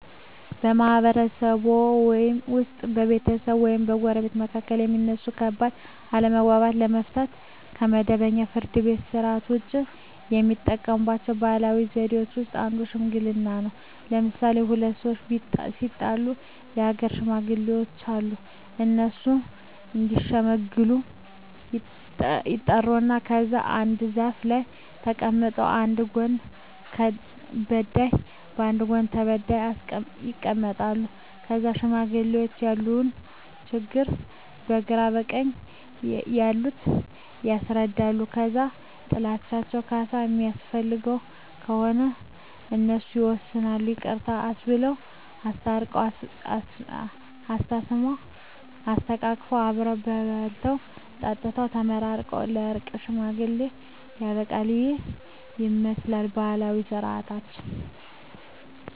በማህበረሰብዎ ውስጥ በቤተሰቦች ወይም በጎረቤቶች መካከል የሚነሱ ከባድ አለመግባባቶችን ለመፍታት (ከመደበኛው የፍርድ ቤት ሥርዓት ውጪ) የሚጠቀሙባቸው ባህላዊ ዘዴዎች ውስጥ አንዱ ሽምግልና ነው። ለምሣሌ፦ ሁለት ሠዎች ቢጣሉ የአገር ሽማግሌዎች አሉ። እነሱ እዲሸመግሉ ይጠሩና ከዛ አንድ ዛፍ ስር ተቀምጠው በአንድ ጎን በዳይ በአንድ ጎን ተበዳይ ይቀመጣሉ። ከዛ ለሽማግሌዎች ያለውን ችግር በግራ በቀኝ ያሉት ያስረዳሉ። ከዛ ጥላቸው ካሣ የሚያስፈልገው ከሆነ እሱን ወስነው ይቅርታ አባብለው። አስታርቀው፤ አሳስመው፤ አሰተቃቅፈው አብረው በልተው ጠጥተው ተመራርቀው በእርቅ ሽምግልናው ያልቃ። ይህንን ይመስላል ባህላዊ ስርዓታችን።